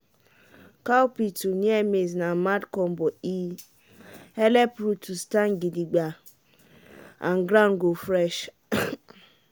cowpea to near maize na mad combo e helep root to stand gidigba and ground go fresh.